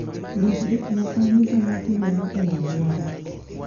Ndik gik moko duto ma timore e alwora